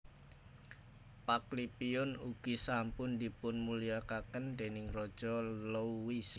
Paklipiun ugi sampun dipunmulyakaken déning Raja Louis